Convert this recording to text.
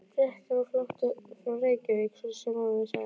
Bretum á flótta frá Reykjavík, svo sem áður sagði.